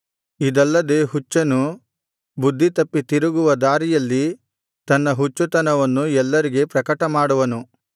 ಇದಲ್ಲದೆ ಹುಚ್ಚನು ಬುದ್ಧಿತಪ್ಪಿ ತಿರುಗುವ ದಾರಿಯಲ್ಲಿ ತನ್ನ ಹುಚ್ಚುತನವನ್ನು ಎಲ್ಲರಿಗೆ ಪ್ರಕಟಮಾಡುವನು